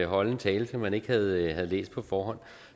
holde en tale som man ikke havde læst på forhånd